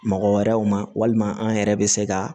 Mɔgɔ wɛrɛw ma walima an yɛrɛ bɛ se ka